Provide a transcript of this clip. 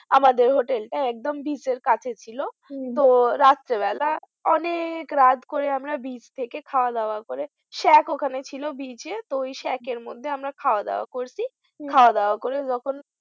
আমাদের hotel টা একদম beach এর কাছে ছিল হম তো রাত্রে বেলা অনেক রাত করে আমরা beach থেকে খাওয়া দাওয়া করে shack ওখানে ছিল beach এ তো ওই shack এর মধ্যে আমরা খাওয়া দাওয়া করছি হম খাওয়া দাওয়া করে যখন